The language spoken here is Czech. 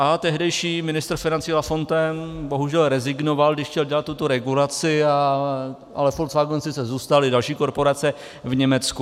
A tehdejší ministr financí Lafontaine bohužel rezignoval, když chtěl dělat tuto regulaci, ale Volkswagenu sice zůstaly další korporace v Německu.